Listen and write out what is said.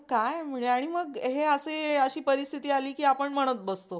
काय म्हणजे आणि मग असे अशी परिस्थिती आली की आपण म्हणतं बसतो.